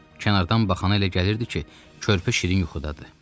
Kənardan baxana elə gəlirdi ki, körpü şirin yuxudadır.